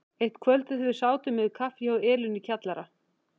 Eitt kvöldið þegar við sátum yfir kaffi hjá Elínu í kjallara